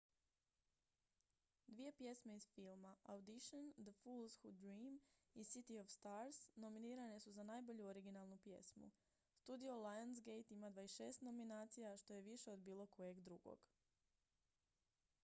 dvije pjesme iz filma: audition the fools who dream i city of stars nominirane su za najbolju originalnu pjesmu. studio lionsgate ima 26 nominacija što je više od bilo kojeg drugog